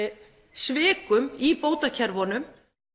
svikum í bótakerfunum